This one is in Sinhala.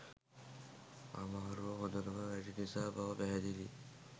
අමාරුව හොඳටම වැඩි නිසා බව පැහැදිලියි